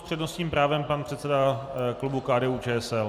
S přednostním právem pan předseda klubu KDU-ČSL.